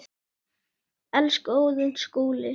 Elsku Óðinn Skúli.